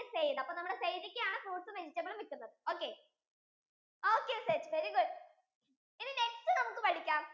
അപ്പൊ നമ്മുടെ zaid ഇക്ക ആണ് fruits ഉം vegetables ഉം വിക്കുന്നത് okay, okay set very good ഇനി next നമുക്കു പഠിക്കാം